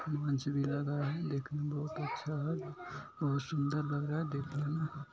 भी लगा है देखने बहोत अच्छा है । बहोत सुन्दर लग रहा है देखने में ।